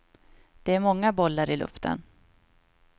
Det är många bollar i luften.